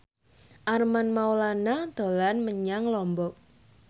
Armand Maulana dolan menyang Lombok